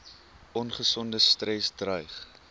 ongesonde stres dreig